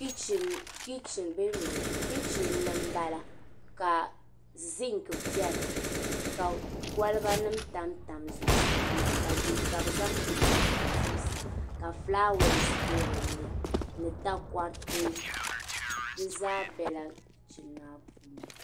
Kichin ni m-bala ka ziŋki beni ka kolibanima tamtam zuɣusaa maa ka bɛ zaŋ picha tam zuɣusaa ka fulaawaasi be dinni ni takɔriti di zaa bela kichin maa puuni.